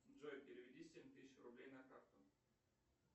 джой переведи семь тысяч рублей на карту